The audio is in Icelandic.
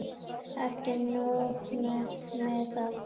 Ekki nóg með að